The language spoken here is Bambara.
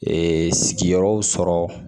sigiyɔrɔ sɔrɔ